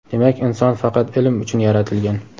Demak, inson faqat ilm uchun yaratilgan.